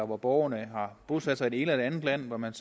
hvor borgerne har bosat sig i det ene eller andet land så man